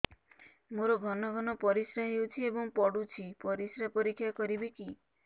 ମୋର ଘନ ଘନ ପରିସ୍ରା ହେଉଛି ଏବଂ ପଡ଼ୁଛି ପରିସ୍ରା ପରୀକ୍ଷା କରିବିକି